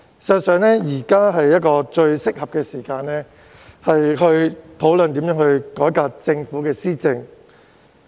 事實上，現時是最適合的時機討論如何改革政府施政。